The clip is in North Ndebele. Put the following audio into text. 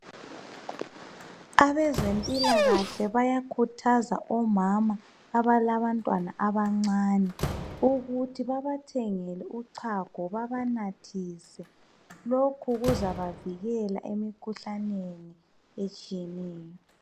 Abezempilakahle bayakhuthaza omama abalabantwana abancane ukuthi babathengele uchago babanathise .Lokhu kuzabavikela emkhuhlaneni etshiyeneyo.